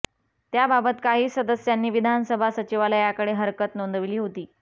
त्या बाबत काही सदस्यांनी विधानसभा सचिवालयाकडे हरकत नोंदवली होती